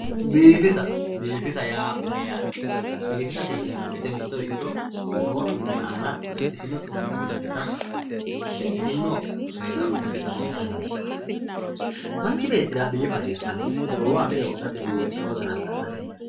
Biifissa, biifissa yaa mayatte biifissate yineemo woyite mittoricho noo xu'me aana lexxitino xu'me uyinanitta lexxitino seessa uyinanita biifissa yinanni manchi beettirra biifa hasisanosi goowaho afire wodhatenni woriqqe daradadhatenni